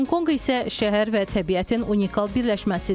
Honkonq isə şəhər və təbiətin unikal birləşməsidir.